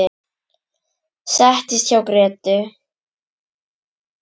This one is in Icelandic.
Settist hjá Grétu.